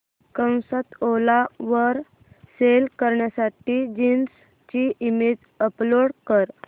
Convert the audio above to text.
ओला वर सेल करण्यासाठी जीन्स ची इमेज अपलोड कर